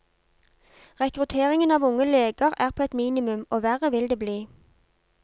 Rekrutteringen av unge leger er på et minimum, og verre vil det bli.